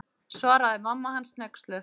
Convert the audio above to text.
Svaraði mamma hans hneyksluð.